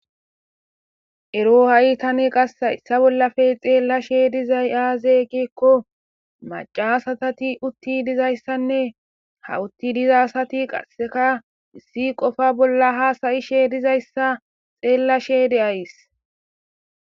Ero Tani Qase Haysa Bolaphe Xelashe Dizay Aze Giko Macca asati Utii Dizaysane Ha utii diza Asati Qaseka Essi Qofa Bolla Hasa'she Dizaysa Xelashe De'ays